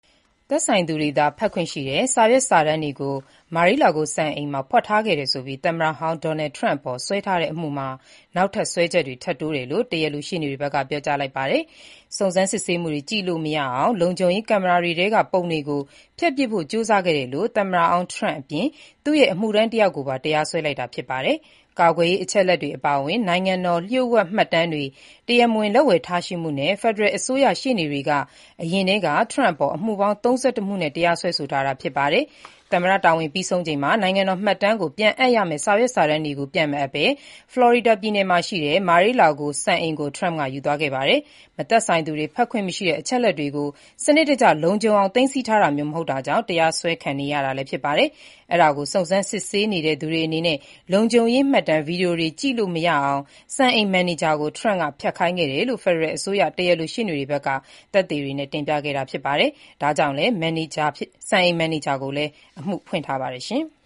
သက်ဆိုင်သူတွေသာ ဖတ်ခွင့်ရှိတဲ့စာရွက် စာတမ်းတွေကို Mar-a-Lago စံအိမ်မှာ ဖွက်ထားခဲ့တယ်ဆိုပြီး သမ္မတဟောင်း Donald Trump အပေါ်စွဲထားတဲ့ အမှုမှာ နောက်ထပ် စွဲချက်တွေ ထပ်တိုးတယ်လို့ တရားလိုရှေ့နေတွေဘက်က ပြောကြားလိုက်ပါတယ်။ စုံစမ်းစစ်ဆေးရေးမှူးတွေ ကြည့်လို့မရအောင် လုံခြုံရေးကင်မရာထဲက ပုံတွေကို ဖျက်ပစ်ဖို့ ကြိုးစားခဲ့လို့ သမ္မတဟောင်း Trump အပြင် သူ့ရဲ့ အမှုထမ်းတယောက်ကို တရားစွဲလိုက်တာဖြစ်ပါတယ်။ ကာကွယ်ရေးအချက်အလက်တွေအပါအဝင် နိုင်ငံတော်လှို့ဝှက်မှတ်တမ်းတွေ တရားမဝင် လက်ဝယ်ထားရှိမှုနဲ့ ဖယ်ဒရယ်အစိုးရရှေ့နေတွေက အရင်ထဲက Trump အပေါ် အမှုပေါင်း ၃၁ မှုနဲ့ တရားစွဲဆိုထားတာဖြစ်ပါတယ်၊ သမ္မတတာဝန်ပြီးဆုံးချိန်မှာ နိုင်ငံတော် မှတ်တမ်းရုံးကို ပြန်အပ်ရမယ့် စာရွက်စာတမ်းတွေကို ပြန်မအပ်ဘဲ Florida ပြည်နယ်မှာရှိတဲ့ Mar-a-Lago စံအိမ်ကို Trump ယူသွားခဲ့ပါတယ်။ မသက်ဆိုင်သူတွေ ဖတ်ခွင့်မရှိတဲ့ အချက်အလက်တွေကို စနစ်တကျ လုံခြုံအောင် သိမ်းဆည်းထားတာမျိုး မဟုတ်တာကြောင့် တရားစွဲခံနေရတာဖြစ်ပါတယ်။ အဲဒါကို စုံစမ်းစစ်ဆေးနေတဲ့သူတွေအနေနဲ့ လုံခြုံရေး မှတ်တမ်း Video တွေကြည့်လို့မရအောင် Mar-a-Lago စံအိမ်မန်နေဂျာကို လုံခြုံရေးကင်မရာက ပုံတွေ Trump ကဖျက်ခိုင်းခဲ့တယ်လို့ ဖယ်ဒရယ်အစိုးရ တရားလိုရှေ့နေတွေဘက်က သက်သေတွေ တင်ပြခဲ့တာဖြစ်ပါတယ်။ ဒါကြောင့် မန်နေဂျာ Carlos De Oliveira ကိုလည်း အမှုဖွင့်ထားပါတယ်။